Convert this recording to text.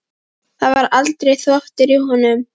Það var aldrei þvottur í honum.